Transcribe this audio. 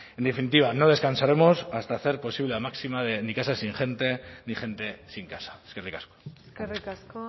en definitiva no descansaremos hasta hacer posible la máxima de ni casa sin gente ni gente sin casa eskerrik asko eskerrik asko